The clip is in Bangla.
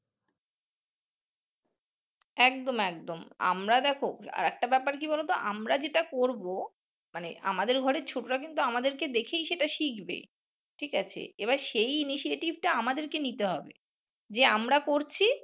একদম একদম আমরা দেখো আর একটা ব্যাপার কি বলো তো আমরা যেটা করবো মানে আমাদের ঘরে ছোটরা কিন্তু আমাদের কে দেখেই সেটা শিখবে ঠিক আছে? এবার সেই initiative টা আমাদের কে নিতে হবে যে আমরা করছি